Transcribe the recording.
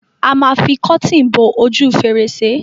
A ma fi àwọn kọ́tìn bo ojú fèrèsé.